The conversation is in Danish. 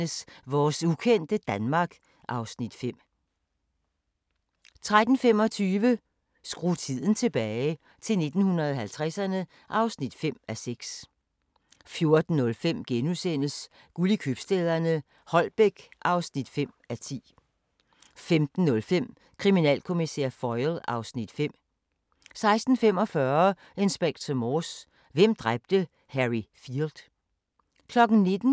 01:00: Blindt spor II (1:6) 01:50: Blindt spor II (2:6) 02:40: Herskab og tjenestefolk (23:68) 03:30: Herskab og tjenestefolk (24:68) 04:20: Camilla - Boller af stål 04:50: Danmarks skønneste sommerhus - Vesterhavet